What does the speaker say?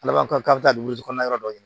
Alamisa don ya yɔrɔ dɔ ɲini